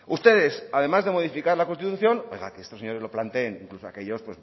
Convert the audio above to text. ustedes además de modificar la constitución oigan que estos señores lo planteen o aquellos